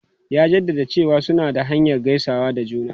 Ya jaddada cewa suna da hanyar gaisawa da juna.